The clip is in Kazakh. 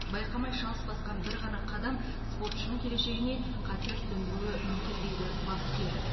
байқамай шалыс басқан бір ғана қадам спортшының келешегіне қатер төндіруі мүмкін дейді бапкер